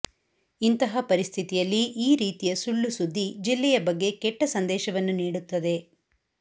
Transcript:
ಇಂತಹ ಪರಿಸ್ಥಿತಿಯಲ್ಲಿ ಈ ರೀತಿಯ ಸುಳ್ಳು ಸುದ್ದಿ ಜಿಲ್ಲೆಯ ಬಗ್ಗೆ ಕೆಟ್ಟ ಸಂದೇಶವನ್ನು ನೀಡುತ್ತದೆ